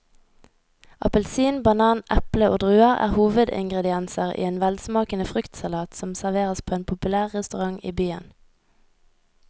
Appelsin, banan, eple og druer er hovedingredienser i en velsmakende fruktsalat som serveres på en populær restaurant i byen.